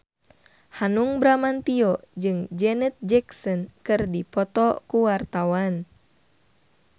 Hanung Bramantyo jeung Janet Jackson keur dipoto ku wartawan